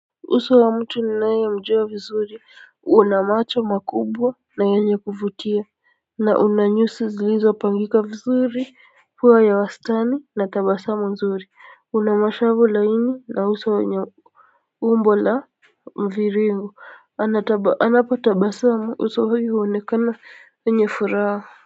Uso wa mtu ninayemjua vizuri una macho makubwa na yenye kuvutia na una nyusi zilizopangika vizuri huwa ya wastani na tabasamu mzuri una mashavu laini na uso yenye umbo la mviringo anapotabasamu uso huyu huonekana yenye furaha.